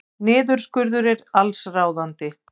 Niðurskurður allsráðandi